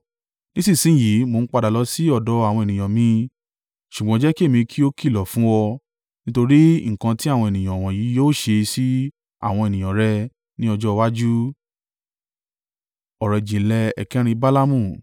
Nísinsin yìí mò ń padà lọ sí ọ̀dọ̀ àwọn ènìyàn mi, ṣùgbọ́n jẹ́ kí èmi kí ó kìlọ̀ fún ọ nítorí nǹkan tí àwọn ènìyàn wọ̀nyí yóò ṣe sí àwọn ènìyàn rẹ ní ọjọ́ iwájú.”